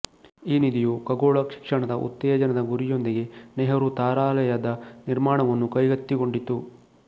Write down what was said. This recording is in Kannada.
ಈ ನಿಧಿಯು ಖಗೋಳ ಶಿಕ್ಷಣದ ಉತ್ತೇಜನದ ಗುರಿಯೊಂದಿಗೆ ನೆಹರು ತಾರಾಲಯದ ನಿರ್ಮಾಣವನ್ನು ಕೈಗೆತ್ತಿಕೊಂಡಿತು